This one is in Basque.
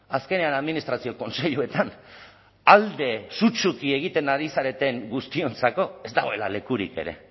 azkenean administrazio kontseiluetan alde sutsuki egiten ari zareten guztiontzat ez dagoela lekurik ere